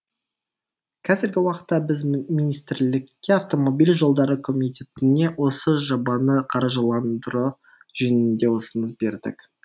қазіргі уақытта біз министрлікке автомобиль жолдары комитетіне осы жобаны қаржыландыру жөнінде ұсыныс бердік